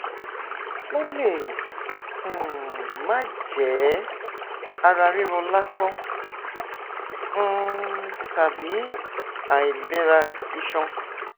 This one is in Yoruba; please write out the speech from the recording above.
ó lè um máà jẹ iṣan ara ríro lásán um tàbí àìlera iṣan